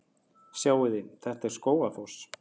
Sjáiði! Þetta er Skógafoss.